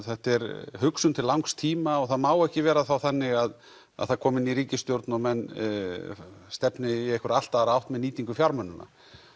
þetta er hugsun til langs tíma og það má ekki vera þannig að það komi ný ríkisstjórn og menn stefni í einhverja allt aðra átt með nýtingu fjármunanna